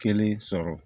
Kelen sɔrɔ